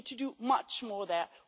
We need to do much more there.